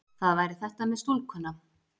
Það væri þetta með stúlkuna.